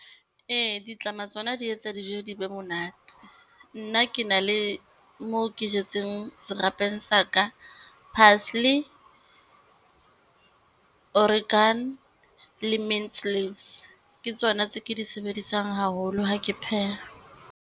Ee, ditlama tsona di etsa dijo di be monate. Nna ke na le mo ke jetseng serapeng sa ka, parsley, Oregano le mint leaves. Ke tsona tse ke di sebedisang haholo ha ke pheha.